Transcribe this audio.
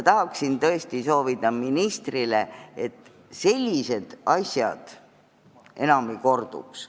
Tahan tõesti ministrile soovida, et sellised asjad enam ei korduks.